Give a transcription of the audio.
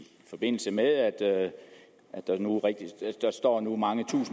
forbindelse med at der nu står mange